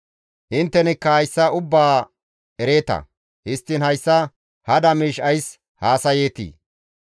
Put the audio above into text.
Inttenikka hayssa ubbaa ereeta; histtiin hayssa hada miish ays haasayeetii?